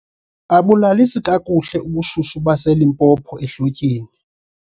Abulalisi kakuhle ubushushu baseLimpopo ehlotyeni.